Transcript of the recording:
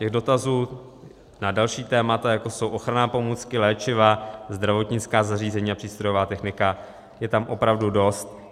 Těch dotazů na další témata, jako jsou ochranné pomůcky, léčiva, zdravotnická zařízení a přístrojová technika, je tam opravdu dost.